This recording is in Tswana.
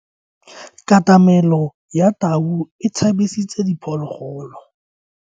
Katamelo ya tau e tshabisitse diphologolo.